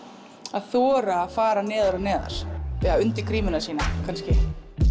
að þora að fara neðar og neðar undir grímuna sína kannski